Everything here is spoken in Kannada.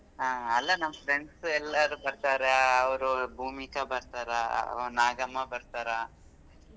ಹಾ ಅಲ್ಲಾ ನಮ್ friends ಎಲ್ಲರೂ ಬರ್ತಾರ ಅವ್ರು ಭೂಮಿಕಾ ಬರ್ತಾರ ನಾಗಮ್ಮ ಬರ್ತಾರ.